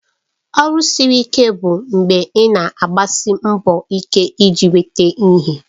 Ọrụ siri ike bụ mgbe ị na-agbasi mbọ ike iji nweta ihe